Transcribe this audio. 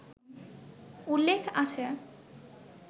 উল্লেখ আছে